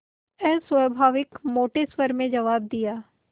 अस्वाभाविक मोटे स्वर में जवाब दिया